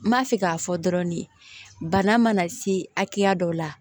N b'a fɛ k'a fɔ dɔrɔn ni bana mana se hakɛya dɔ la